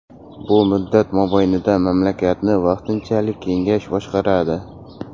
Bu muddat mobaynida mamlakatni vaqtinchalik kengash boshqaradi.